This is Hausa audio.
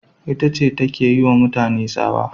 Ita ce take yiwa mutane tsawa